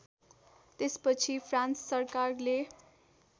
त्यसपछि फ्रान्स सरकारले